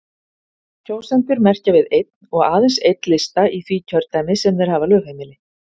Kjósendur merkja við einn og aðeins einn lista í því kjördæmi sem þeir hafa lögheimili.